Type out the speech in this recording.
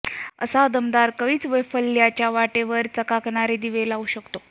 असा दमदार कवीच वैफल्याच्या वाटेवर चकाकणारे दीप लावू शकतो